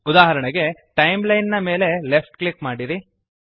ಉದಾಹರಣೆಗೆ ಟೈಮ್ಲೈನ್ ನ ಮೇಲೆ ಲೆಫ್ಟ್ ಕ್ಲಿಕ್ ಮಾಡಿರಿ